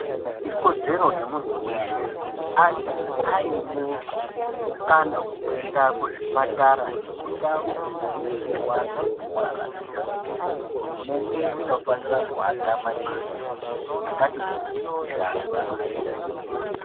Ikodzero yemuntu weshe kuti ange aine mukana wekuenda kuzvipatara nekundau dzinobetserwa antu anorwara nekumakiriniki, hurumende inofanire kuwaka makiriniki akati kuti kuti antu adetsereke.